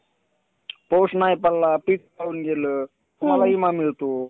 त्याप्रमाणे पाणी औद्योगिक क्षेत्रांमध्ये सुद्धा वापरले जाते. एवढेच नसून पाण्यापासून ऊर्जा निर्मिती सुद्धा केली जाते.